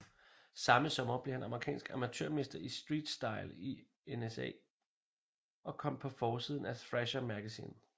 Samme sommer blev han amerikansk amatørmester i streetstyle i NSA og kom på forsiden af Thrasher Magazine